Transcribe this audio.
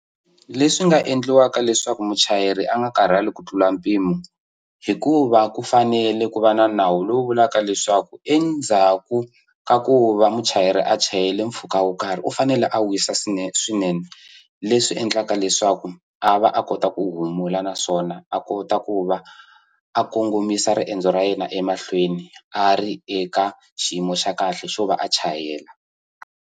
Leswi nga endliwaka leswaku muchayeri a nga karhali ku tlula mpimo hikuva ku fanele ku va na nawu lowu vulaka leswaku endzhaku ka ku va muchayeri a chayela mpfhuka wo karhi u fanele a wisa swinene leswi endlaka leswaku a va a kota ku humula naswona a kota ku va a kongomisa riendzo ra yena emahlweni a ri eka xiyimo xa kahle xo va a chayela.